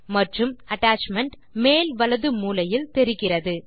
மற்றும் அட்டாச்மென்ட் மேல் வலது மூலையில் தெரிகிறது